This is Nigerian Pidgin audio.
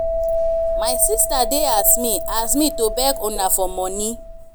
my sister dey as me as me to beg una for money